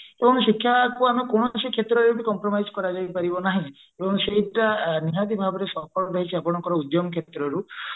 ଶିକ୍ଷାକୁ ଆମେ କୌଣସି କ୍ଷେତ୍ରରେ ବି compromise କରି ଯାଇ ପାରିବ ନାହିଁ ତ ସେଇଟା ନିହାତି ଭାବରେ ସଫଳ ରହିଛି ଆପଣଙ୍କ ଉଦ୍ୟମ କ୍ଷେତ୍ରରୁ